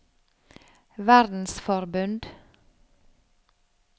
verdensforbund